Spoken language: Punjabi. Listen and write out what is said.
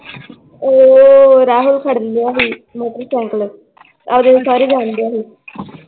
ਓ ਰਾਹੁਲ ਫੜ ਲਿਆ ਸੀ ਮੋਟਰਸਾਇਕਲ ਸੋਹਰੇ ਜਾਨ ਡਿਆ ਸੀ l